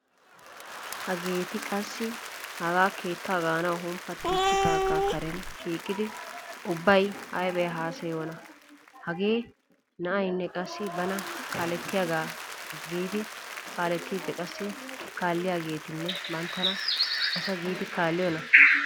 Hageeti qassi hagaa keettaa gaanawu humppattiichchidaagaa karen shiiqidi ubbay aybe haasayiyona. Hagee na'aynne qassi bana kaalettiyaga giidi kaaletti qassi kaalliyageetinne banttana asa giidi kaalliyona.